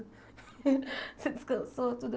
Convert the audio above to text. Você descansou, tudo.